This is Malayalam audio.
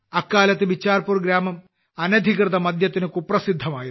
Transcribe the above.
അക്കാലത്ത് ബിച്ചാർപൂർ ഗ്രാമം അനധികൃത മദ്യത്തിന് കുപ്രസിദ്ധമായിരുന്നു